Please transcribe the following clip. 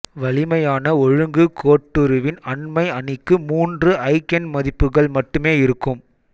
வலிமையான ஒழுங்கு கோட்டுருவின் அண்மை அணிக்கு மூன்று ஐகென்மதிப்புகள் மட்டுமே இருக்கும்